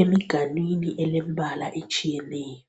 emiganwini elembala etshiyeneyo.